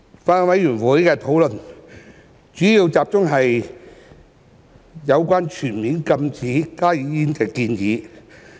法案委員會的討論，主要集中於有關全面禁止加熱煙的建議。